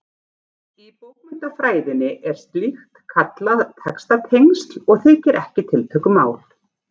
Í bókmenntafræðinni er slíkt kallað textatengsl og þykir ekki tiltökumál.